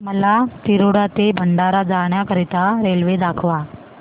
मला तिरोडा ते भंडारा जाण्या करीता रेल्वे दाखवा